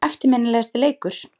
Eftirminnilegasti leikur?